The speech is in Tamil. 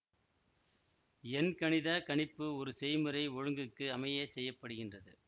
எண்கணிதக் கணிப்பு ஒரு செய்முறை ஒழுங்குக்கு அமையச் செய்ய படுகின்றது